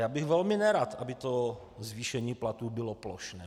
Já bych velmi nerad, aby to zvýšení platů bylo plošné.